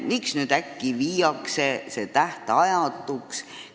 Miks nüüd äkki muudetakse lepingud tähtajatuks?